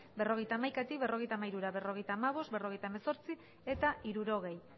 berrogeita hamaikatik berrogeita hamairura berrogeita hamabost berrogeita hemezortzi eta hirurogei